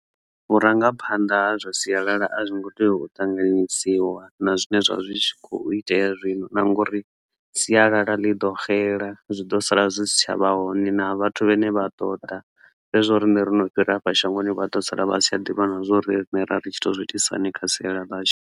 vhurangaphanḓa ha zwa sialala a zwi ngo tea u ṱanganyisiwa na zwine zwa kho itea zwino na ngori sialala ḽi ḓo xela zwi ḓo sala zwi si tshavha hone na vhathu vhane vha ḓo ḓa zwezwo rine ri no fhira hafha shangoni vha ḓo sala vha sa ḓivhi na zwori rine ra ri tshi to zwi itisa hani kha sialala ḽashu.